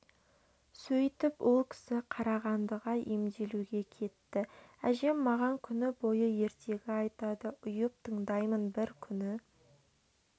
сөйтіп ол кісі қарағандыға емделуге кетті әжем маған күні бойы ертегі айтады ұйып тыңдаймын бір күні